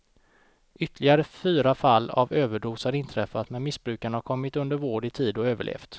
Ytterligare fyra fall av överdos har inträffat men missbrukarna har kommit under vård i tid och överlevt.